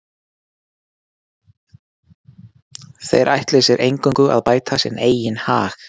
þeir ætli sér eingöngu að bæta sinn eigin hag